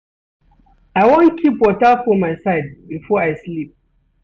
I wan keep water for my side before I sleep.